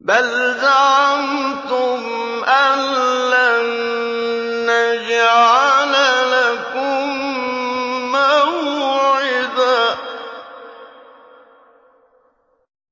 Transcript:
بَلْ زَعَمْتُمْ أَلَّن نَّجْعَلَ لَكُم مَّوْعِدًا